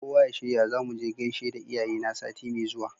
Kowa ya shirya zamuje gaishe da iyaye na sati me zuwa